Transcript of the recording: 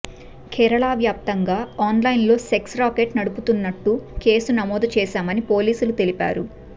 కేరళ వ్యాప్తంగా ఆన్లైన్లో sex racket నడుపుతున్నట్టు కేసు నమోదు చేశామని పోలీసులు తెలిపారు